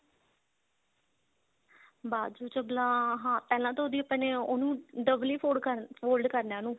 ਬਾਜੂ ਚਬਲਾ ਹਾਂ ਪਹਿਲਾਂ ਤਾਂ ਉਹਦੀ ਆਪਾਂ ਨੇ ਉਹਨੂੰ double ਹੀ fold fold ਕਰਨਾ ਉਹਨੂੰ